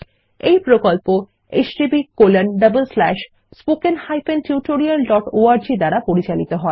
এই প্রকল্প httpspoken tutorialorg দ্বারা পরিচালিত হয়